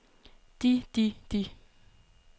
de de de